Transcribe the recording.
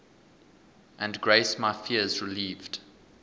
and grace my fears relieved